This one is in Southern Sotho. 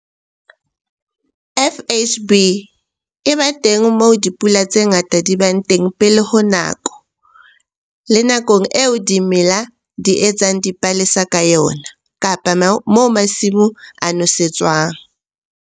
FHB e ba teng moo dipula tse ngata di bang teng pele ho hammoho le nakong eo dimela di etsang dipalesa ka yona kapa moo masimo a nosetswang.